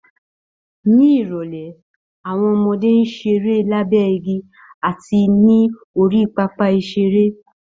Ní ìrọ̀lẹ́ àwọn ọmọdé ń ṣeré lábẹ́ igi àti ní orí pápá ìṣeré